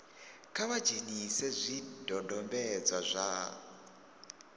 kha vha dzhenise zwidodombedzwa zwa